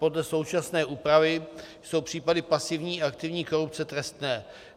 Podle současné úpravy jsou případy pasivní a aktivní korupce trestné.